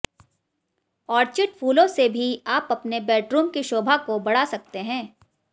orchid फूलों से भी आप अपने बैडरुम की शौभा को बढा़ सकते हैं